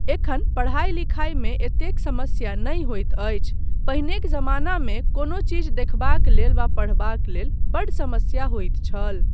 एखन पढ़ाइ लिखाइ मे एतेक समस्या नहि होइत अछि, पहिनेक जमानामे कोनो चीज देखबाक लेल वा पढ़बाक लेल बड्ड समस्या होइत छल।